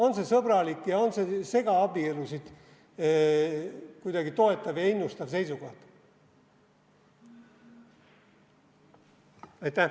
On see sõbralik, on see segaabielusid kuidagi toetav ja innustav seisukoht?